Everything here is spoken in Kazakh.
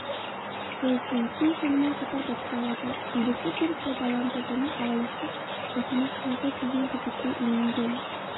цой сун силь сонымен қатар боспалады билікті теріс пайдаланды және алаяқтық жасамақ болды деген күдіккке ілінген